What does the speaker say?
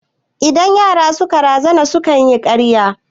Idan yara suka razana sukan yi karya